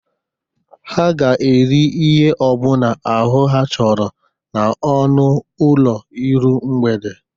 Ha ga-eri ihe ọ bụla ahụ ha chọrọ n'ọnụ ụlọ iru mgbede.